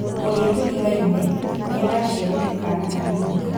ũrĩa tũrigaine nĩaraciarire kaana kanini